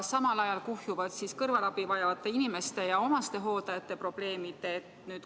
Samal ajal kuhjuvad kõrvalabi vajavate inimeste ja omastehooldajate probleemid.